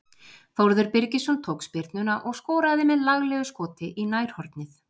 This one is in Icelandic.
Þórður Birgisson tók spyrnuna og skoraði með laglegu skoti í nærhornið.